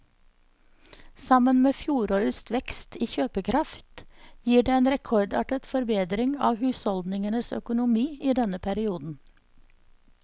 Sammen med fjorårets vekst i kjøpekraft gir det en rekordartet forbedring av husholdningenes økonomi i denne perioden.